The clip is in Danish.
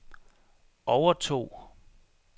overtog